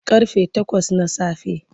Ƙarfe takwas na safe.